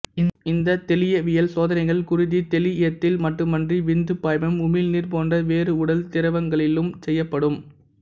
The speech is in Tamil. இந்த தெளியவியல் சோதனைகள் குருதி தெளியத்தில் மட்டுமன்றி விந்துப் பாய்மம் உமிழ்நீர் போன்ற வேறு உடல் திரவங்களிலும் செய்யப்படும்